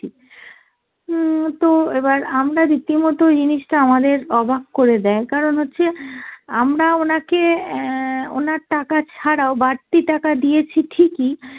হম তো এবার আমরা রীতিমত জিনিসটা আমাদের অবাক করে দেয় কারণ হচ্ছে আমরা ওনাকে অ্যাঁ ওনার টাকা ছাড়াও বাড়তি টাকা দিয়েছি ঠিকই